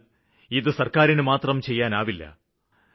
എന്നാല് ഇത് സര്ക്കാരിനുമാത്രം ചെയ്യാനാവില്ല